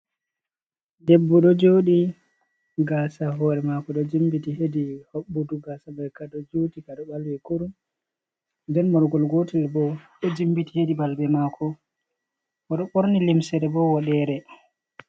Debbo ɗo joɗi. Gaasa hoore maako ɗo jimbiti hedi hoɓɓudu, gaasa man ka ɗo juti, kaɗo ɓalwi kurum, nden morgol gotel bo ɗo jimbiti hedi balbe maako. Oɗo ɓorni limsere bo woɗere.